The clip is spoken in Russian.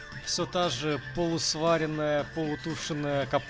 все та же полусваренная полутушенная капу